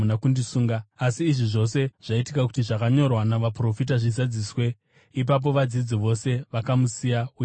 Asi izvi zvose zvaitika kuti zvakanyorwa navaprofita zvizadziswe.” Ipapo vadzidzi vose vakamusiya uye vakatiza.